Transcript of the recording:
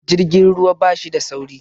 Jirgin ruwa bashi da sauri